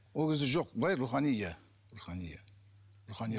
ол кезде жоқ былай рухани иә рухани иә рухани